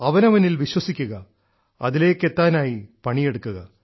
അവനവനിൽ വിശ്വസിക്കുക അതിലേയ്ക്കു എത്താനായി പണിയെടുക്കുക